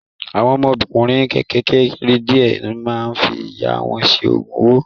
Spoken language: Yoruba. Àwọn ọmọkùnrin kékèké díẹ̀ máa ń fi ìyà wọn ṣe Ògùn owó